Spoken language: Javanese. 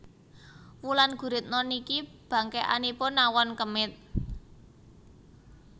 Wulan Guritno niki bangkekanipun nawon kemit